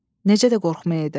Necə də qorxmayaydı.